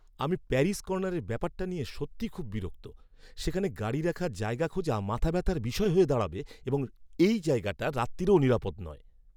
আমি প্যারি'স কর্নারের ব্যাপারটা নিয়ে সত্যিই খুব বিরক্ত। সেখানে গাড়ি রাখার জায়গা খোঁজা মাথাব্যাথার বিষয় হয়ে দাঁড়াবে, এবং এই জায়গাটা রাত্তিরেও নিরাপদ নয়।